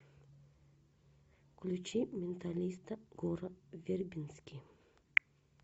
включи менталиста гора вербински